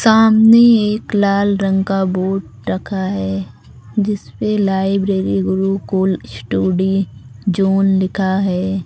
सामने एक लाल रंग का बोर्ड रखा है जिस पे लाइब्रेरी गुरुकुल स्टुडी जोन लिखा है।